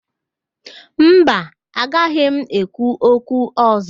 Mba, agaghị m ekwu okwu ọ̀zọ́.